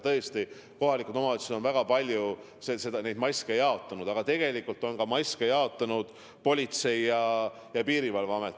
Tõesti, kohalikud omavalitsused on väga palju maske jaotanud, aga tegelikult on maske jaotanud ka Politsei- ja Piirivalveamet.